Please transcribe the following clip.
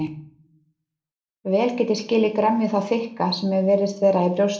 Vel get ég skilið gremju þá þykka sem mér virðist vera í brjósti